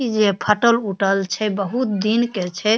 इ जे फटल-उटल छै बहुत दिन के छै।